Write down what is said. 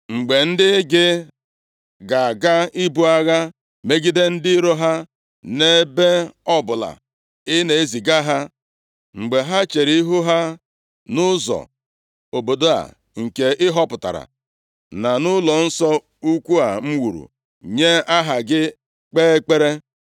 “Mgbe ndị gị ga-aga ibu agha megide ndị iro ha, nʼebe ọbụla ị na-eziga ha, mgbe ha chere ihu ha nʼụzọ obodo a nke ị họpụtara na nʼụlọnsọ ukwu a m wuru nye Aha gị, kpee ekpere,